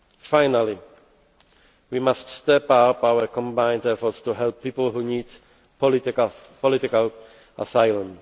Finally, we must step up our combined efforts to help people who need political asylum.